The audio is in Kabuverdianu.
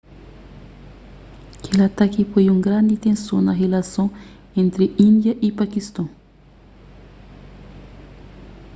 kel ataki poi un grandi tenson na rilason entri índia y pakiston